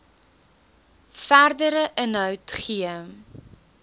verdere inhoud gee